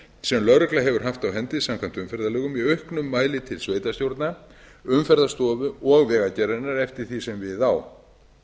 sem lögregla hefur haft á hendi samkvæmt umferðarlögum í auknum mæli til sveitarstjórna umferðarstofu og vegagerðarinnar eftir því sem við á